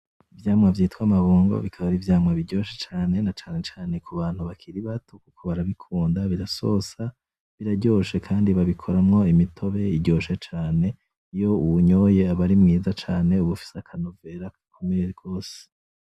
Ivyamwa vyitwa amabungo bika ari ivyamwa biryoshe cane, na cane cane kubantu bakiri bato kuko barabikunda birasosa , biraryoshe kandi babikuramwo imitobe iryoshe cane, iyo uwunyoye aba ari mwiza cane uba ufise akanovera gakomeye gose.